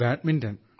badminton